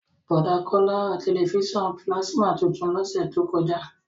Bọ̀dá Kọ́lá ra tẹ̀lifísàn pílásímà tuntun lọ́sẹ̀ tó kọjá